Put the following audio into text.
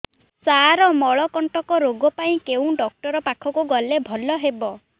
ସାର ମଳକଣ୍ଟକ ରୋଗ ପାଇଁ କେଉଁ ଡକ୍ଟର ପାଖକୁ ଗଲେ ଭଲ ହେବ